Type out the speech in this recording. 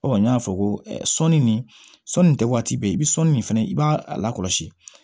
n y'a fɔ ko sɔɔni nin sɔɔni nin tɛ waati bɛɛ i bɛ sɔli min fana i b'a lakɔlɔsi